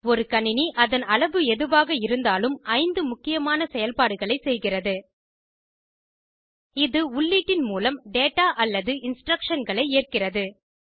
ஒரு கணினி அதன் அளவு எதுவாக இருந்தாலும் ஐந்து முக்கியமாக செயல்படுகளை செய்கிறது இது உள்ளீட்டின் மூலம் டேடா அல்லது இன்ஸ்ட்ரக்ஷன்களை ஏற்கிறது